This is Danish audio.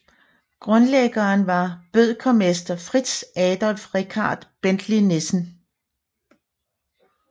Grundlæggeren var bødkermester Fritz Adolf Richard Bentley Nissen